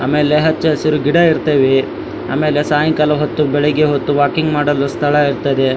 ಆಮೇಲೆ ಹಚ್ಚ ಹಸಿರು ಗಿಡ ಇರ್ತವೆ ಆಮೇಲೆ ಸಾಯಂಕಾಲ ಹೊತ್ತು ಬೆಳ್ಳಿಗ್ಗೆ ಹೊತ್ತು ವಾಕಿಂಗ್ ಮಾಡಲು ಸ್ಥಳ ಇರ್ತದೆ.